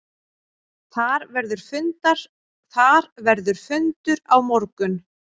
Þar verður fundur á morgun.